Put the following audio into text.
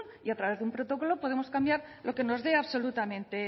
y a través de un protocolo podemos cambiar lo que nos dé absolutamente